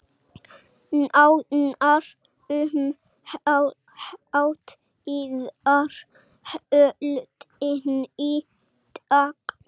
Nánar um hátíðarhöldin í dag